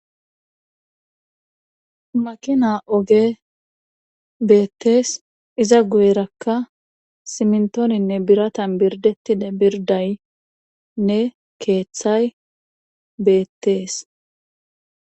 Makina ogey beettees iza guyerakka simmintoninne biratan birrddettida birddynne keethay beettees